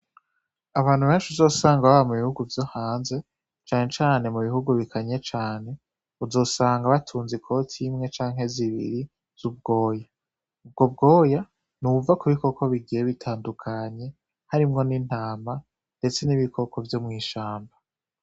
Abantu benshi uzosanga baba mu bihugu vyohanze cane cane mu bihugu bikanye cane uzosanga batunze ikoti imwe canke zibiri z'ubwoya, ubwo bwoya nubwo kubikoko bigiye bitandukanye harimwo n' intama ndetse n'ibikoko vyo mw'ishamba.